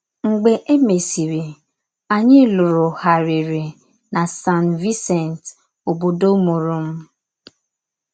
Mgbe e mèsịrị, ànyị lụrụ̀gharịrị na San Vicente, ọ̀bòdò mùụrụ̀ m.